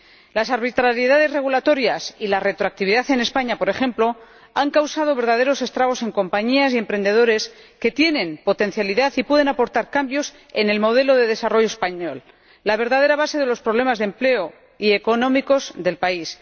Las arbitrariedades regulatorias y la retroactividad en España, por ejemplo, han causado verdaderos estragos en compañías y emprendedores que tienen potencialidad y pueden aportar cambios al modelo de desarrollo español, la verdadera base de los problemas de empleo y económicos del país.